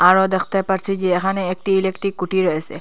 আরও দেখতে পারছি যে এখানে একটি ইলেকট্রিক কুটি রয়েসে।